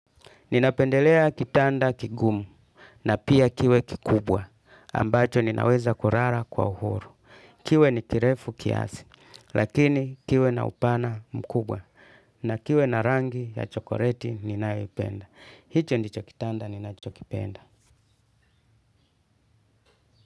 Ninapendelea kitanda kigumu, na pia kiwe kikubwa, ambacho ninaweza kulala kwa uhuru. Kiwe ni kirefu kiasi, lakini kiwe na upana mkubwa, na kiwe na rangi ya chokoleti ninayoipenda. Hicho ndicho kitanda ninachokipenda.